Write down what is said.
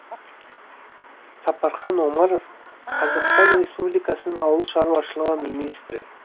сапархан омаров қазақстан республикасының ауыл шаруашылығы министрі